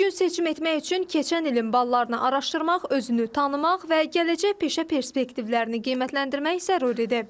Düzgün seçim etmək üçün keçən ilin ballarını araşdırmaq, özünü tanımaq və gələcək peşə perspektivlərini qiymətləndirmək zəruridir.